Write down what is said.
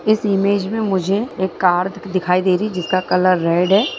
इस इमेज मे मुझे एक कार दिखाई दे रही है जिसका कलर रेड है।